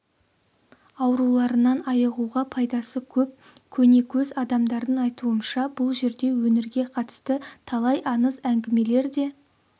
ауруларынан айығуға пайдасы көп көнекөз адамдардың айтуынша бұл жерде өңірге қатысты талай аңыз әңгімелер де